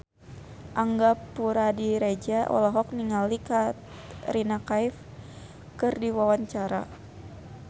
Angga Puradiredja olohok ningali Katrina Kaif keur diwawancara